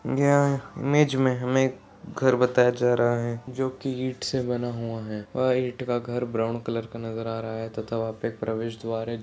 यहाँ इमेज मे हमे घर बताया जा रहा है जो कि ईट से बना हुआ है और ईट का घर ब्राउन कलर का नजर आ रहा है तथा वहाँ पे एक प्रवेशद्वार है।